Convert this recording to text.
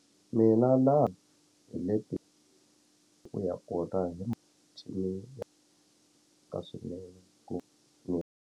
Mina na hi leti u ya kona ka swinene ku .